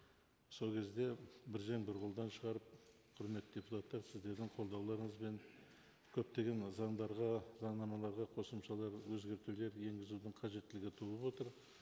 сол кезде бір жең бір қолдан шығарып құрметті депутаттар сіздердің қолдауларыңызбен көптеген заңдарға заңнамаларға қосымшалар өзгертулер енгізудің қажеттілігі туып отыр